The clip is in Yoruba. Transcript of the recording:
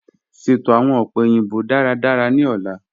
Sẹto awọn ọ̀pẹ̀ oyinbo dáràdárà ni ọ̀lá.